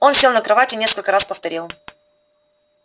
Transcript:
он сел на кровать и несколько раз повторил